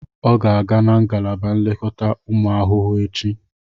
Ọ ga-aga na ngalaba nlekọta ụmụ ahụhụ echi